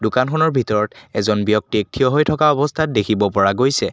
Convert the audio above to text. দোকানখনৰ ভিতৰত এজন ব্যক্তিক থিয় হৈ থকা অৱস্থাত দেখিব পৰা গৈছে।